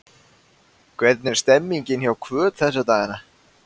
Hvernig er stemningin hjá Hvöt þessa dagana?